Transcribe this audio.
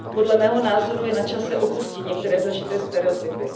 Podle mého názoru je načase opustit některé zažité stereotypy.